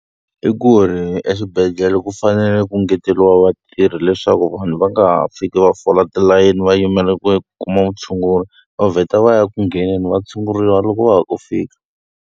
I ku ri exibedhlele ku fanele ku engeteriwa vatirhi leswaku vanhu va nga ha fiki va fola tilayeni va yimele ku kuma vutshunguri, va vheta va ya ku ngheneni va tshunguriwa loko va ha ku fika.